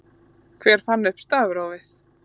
Hver fann upp stafrófið?